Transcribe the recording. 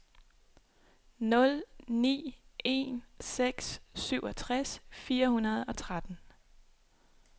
nul ni en seks syvogtres fire hundrede og tretten